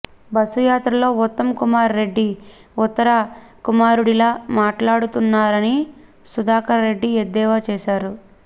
బస్సుయాత్రలో ఉత్తమ్ కుమార్ రెడ్డి ఉత్తర కుమారుడిలా మాట్లాడుతున్నారని సుధాకర్ రెడ్డి ఎద్దేవా చేశారు